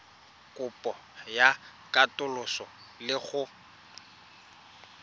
kopo ya katoloso le go